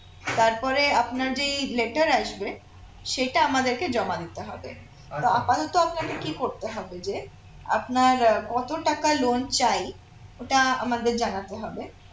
তারপরে আপনার যেই letter সেটা আমাদেরকে জমা দিতে হবে আপাতত আপনাকে কি করতে হবে যে আপনার কত টাকা loan চাই ওটা আমাদের জানাতে হবে